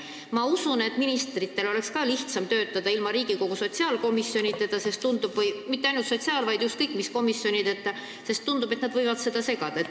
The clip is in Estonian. Ma usun, et ministritel oleks ka lihtsam töötada ilma Riigikogu sotsiaalkomisjonita või ükskõik mis komisjonideta, sest tundub, et komisjonid võivad segada.